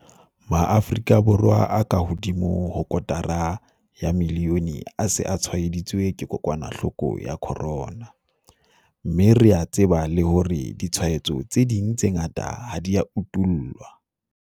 Maafrika Borwa a kahodimo ho kotara ya milione a se a tshwaeditswe ke kokwanahloko ya corona, mme re a tseba le hore ditshwaetso tse ding tse ngata ha di a utollwa.